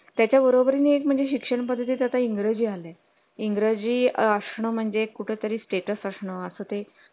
त्याच्या बरोबरीने म्हणजे शिक्षण पद्धती त्यात इंग्रजी आले इंग्रजी असणं कुठे तरी status असणं असं ते